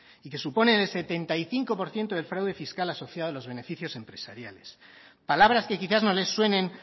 y que suponen el setenta y cinco por ciento del fraude fiscal asociado a los beneficios empresariales palabras que quizás no les suenen